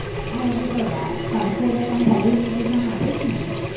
હજુ તો વાર કરશે એટલે તને પહેલું invitation આપીશ ને